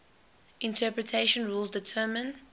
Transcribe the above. interpretation rules determine